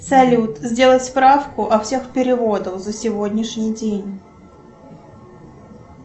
салют сделать справку о всех переводах за сегодняшний день